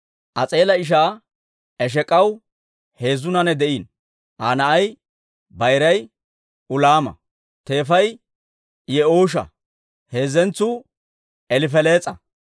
As'eela ishaa Esheek'aw heezzu naanay de'iino. Aa na'ay bayiray Ulaama; teefay Yi'uusha; heezzentsuu Elifelees'a.